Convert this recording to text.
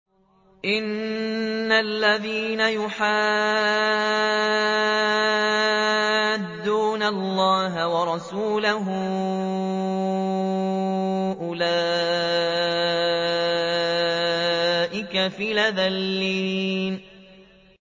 إِنَّ الَّذِينَ يُحَادُّونَ اللَّهَ وَرَسُولَهُ أُولَٰئِكَ فِي الْأَذَلِّينَ